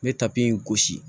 Me tapi in gosi